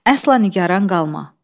Əsla nigaran qalma.